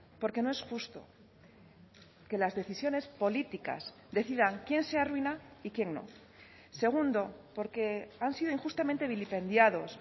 porque no es justo que las decisiones políticas decidan quién se arruina y quién no segundo porque han sido injustamente vilipendiados